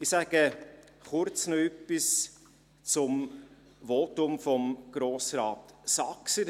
Ich sage noch kurz etwas zum Votum von Grossrat Saxer.